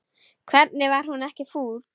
Hvernig var hún ekki full?